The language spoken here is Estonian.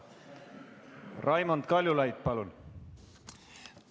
Raimond Kaljulaid, palun!